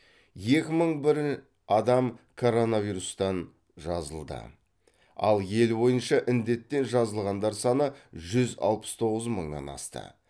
екі мың бір адам коронавирустан жазылды ал ел бойынша індеттен жазылғандар саны жүз алпыс тоғыз мыңнан асты